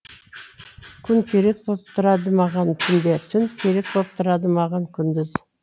күн керек боп тұрады маған түнде түн керек боп тұрады маған күндіз